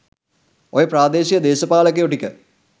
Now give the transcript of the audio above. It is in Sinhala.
ඔය ප්‍රාදේශීය දේශපාලකයො ටික